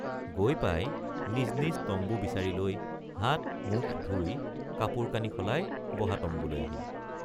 গৈ পাই নিজ নিজ তম্বু বিচাৰি লৈ হাতমুখ ধুই কাপোৰকানি সলাই বহা তম্বুলৈ আহিল।